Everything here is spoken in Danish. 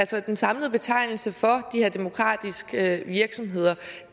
så er den samlende betegnelse for de her demokratiske virksomheder